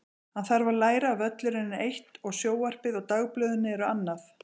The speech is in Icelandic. Hann þarf að læra að völlurinn er eitt og sjónvarpið og dagblöðin eru annað.